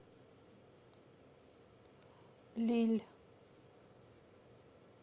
лилль